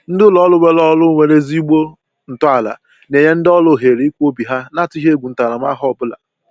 Ndị ụlọ ọrụ nwere ọrụ nwere ezigbo ntọala na-enye ndị ọrụ ohere ikwu obi ha na-atụghị egwu ntaramahụhụ ọbụla